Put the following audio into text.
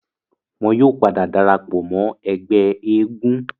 wọn yóò padà darapọ̀ mọ́ ẹgbẹ́ eégún